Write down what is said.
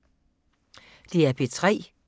DR P3